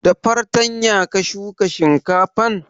Da fartanya ka shuka shinkafan?